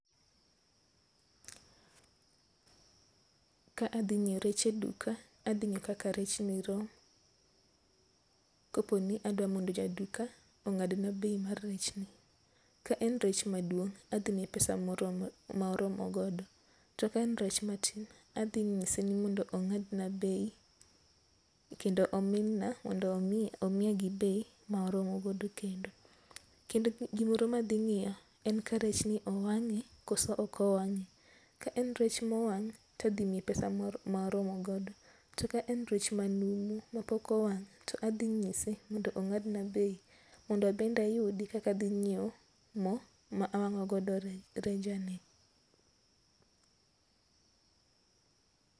Ka adhi ng'iew rech e eduka, adhi ng'iyo kaka rech ni rom. Koponi adwa ni mondo jaduka ong'ad na bei mar rech ni. Ka en rech maduong', adhi miye pesa ma oromo godo. To ka en rech matin to adhi nyise ni mondo ong'ad na bei kendo omin na mondo omiya gi bei ma oromo godo kendo. Kendo gimoro ma adhi ng'iyo en ka rech ni owang'e koso ok owang'e. Ka en rech mowang' to adhi miye pesa ma oromo godo. To ka en rech manumu mapok owang' to adhi nyise mondo ong'ad na bei mondo abende ayudi kaka adhi ng'iew mo ma awang'o godo reja ni.